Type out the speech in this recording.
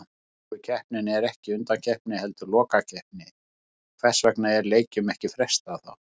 Afríkukeppnin er ekki undankeppni heldur lokakeppni, hvers vegna er leikjum ekki frestað þá?